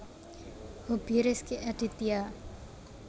Hobi Rezky Aditya